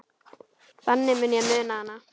Þannig mun ég muna hana.